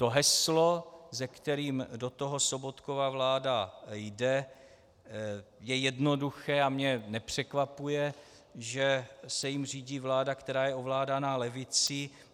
To heslo, se kterým do toho Sobotkova vláda jde, je jednoduché a mě nepřekvapuje, že se jím řídí vláda, která je ovládaná levicí.